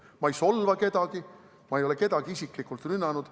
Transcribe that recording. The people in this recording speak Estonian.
Ma ei solva kedagi, ma ei ole kedagi isiklikult rünnanud.